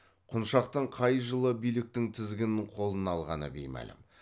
құншақтың қай жылы биліктің тізгінін қолына алғаны беймәлім